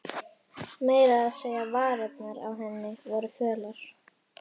Meira að segja varirnar á henni voru fölar.